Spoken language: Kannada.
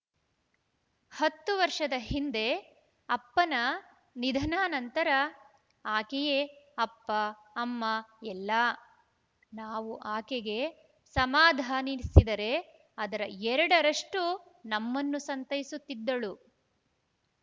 ಹತ್ತು ವರ್ಷದ ಹಿಂದೆ ಅಪ್ಪನ ನಿಧನಾ ನಂತರ ಆಕೆಯೇ ಅಪ್ಪ ಅಮ್ಮ ಎಲ್ಲಾ ನಾವು ಆಕೆಗೆ ಸಮಾಧಾನಿಸಿದರೆ ಅದರ ಎರಡರಷ್ಟುನಮ್ಮನ್ನು ಸಂತೈಸುತ್ತಿದ್ದಳು